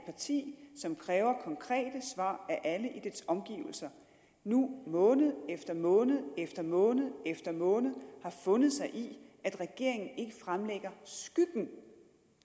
parti som kræver konkrete svar af alle i dets omgivelser nu måned efter måned efter måned efter måned har fundet sig i at regeringen ikke fremlægger skyggen